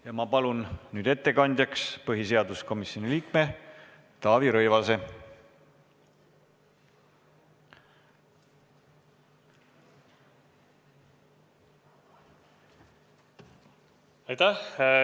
Ja ma palun nüüd ettekandjaks põhiseaduskomisjoni liikme Taavi Rõivase!